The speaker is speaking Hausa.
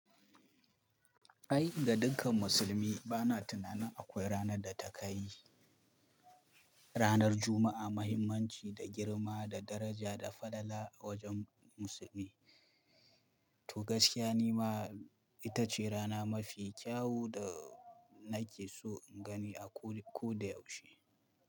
Ai ga dukkan musulmi bana tunanin akwai ranar da ta ka yi ranar Juma'a mahimmanci da girma da daraja da falala a wajen musulmi. To gaskiya nima ita ce rana mafi kyau da nake so in gani a ko, ko da yaushe.